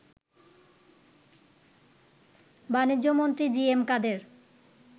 বাণিজ্যমন্ত্রী G M কাদের